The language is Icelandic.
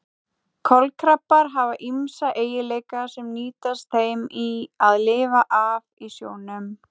Kolkrabbar hafa ýmsa eiginleika sem nýtast þeim í að lifa af í sjónum.